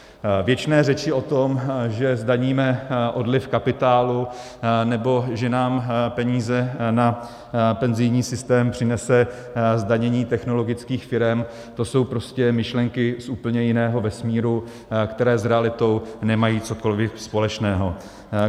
Věčné řeči o tom, že zdaníme odliv kapitálu nebo že nám peníze na penzijní systém přinese zdanění technologických firem, to jsou prostě myšlenky z úplně jiného vesmíru, které s realitou nemají cokoliv společného.